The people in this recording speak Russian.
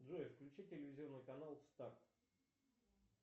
джой включи телевизионный канал старт